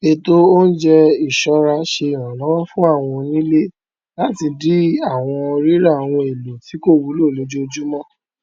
ètò oúnjẹ iṣọra ṣe ìrànlọwọ fún àwọn onílé láti dín àwọn rírà ohun èlò tí kò wúlò lójoojúmọ